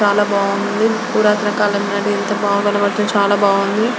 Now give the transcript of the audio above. చాలా బాగుంది. ఎంత బా కనబడుతుంది.చాలా బాగుంది.